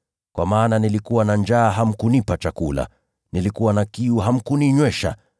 Kwa maana nilikuwa na njaa hamkunipa chakula, nilikuwa na kiu hamkuninywesha,